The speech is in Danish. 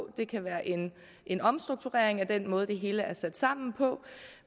det kan være en omstrukturering af den måde det hele er sat sammen på